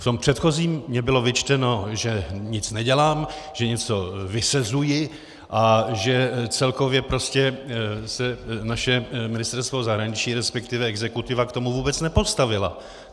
V tom předchozím mi bylo vyčteno, že nic nedělám, že něco vysezuji a že celkově se naše Ministerstvo zahraničí, respektive exekutiva k tomu vůbec nepostavila.